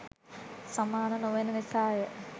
සමාන නොවන නිසාය.